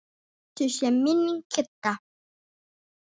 Blessuð sé minning Kidda.